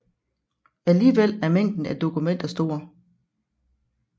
Alligevel er mængden af dokumenter stor